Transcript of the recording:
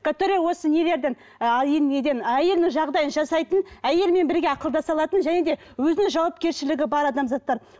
который осы нелерден а ы неден әйелінің жағдайын жасайтын әйелімен бірге ақылдаса алатын және де өзінің жауапкершілігі бар адамзаттар